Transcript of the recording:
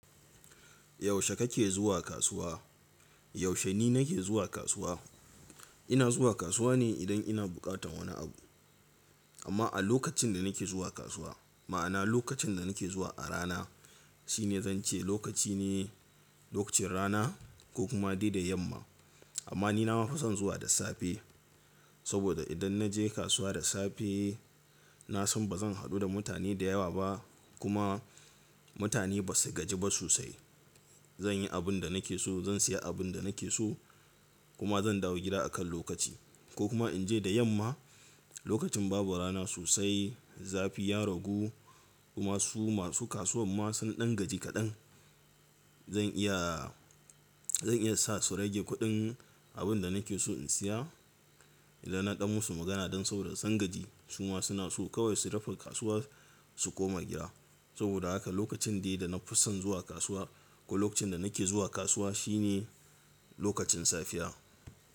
Yaushe kake zuwa kasuwa? Yaushe ni nake zuwa kasuwa, ina zuwa kasuwa ne idan ina buƙatan wani abu. Amma a lokacin da nake zuwa kasuwa, ma'ana lokacin da nake zuwa a rana shine zan ce lokaci ne, lokacin rana ko kuma dai da yamma. Amma ni na ma fa zan zuwa da safe saboda idan na je kasuwa da safe na san ba zan haɗu da mutane da yawa ba kuma mutane ba su gaji ba sosai. Zan yi abin da nake so, zan siya abin da nake so kuma zan dawo gida akan lokaci ko kuma in je da yamma lokacin babu rana sosai, zafi ya ragu kuma su masu kasuwan ma sun ɗan gaji kaɗan. Zan iya, zan iya sa su rage kuɗin abin da nake so in siya idan na ɗau musu magana don sauraron sangaji. Su ma suna so kawai su rufe kasuwa su koma gida. Saboda haka lokacin dai da na fi son zuwa kasuwa ko lokacin da nake zuwa kasuwa shine lokacin safiya.